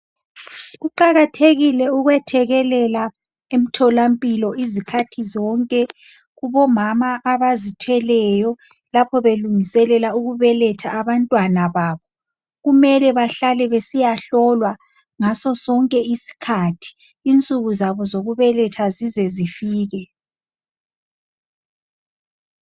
Kuqakathekile ukwethekelela emtholampilo ngezikhathi zonke kubomama abazithweleyo lapho belungiselela ukubeletha abantwana babo. Kumele bahlale besiyahlolwa ngasosonke isikhathi insuku zabo zize zifike.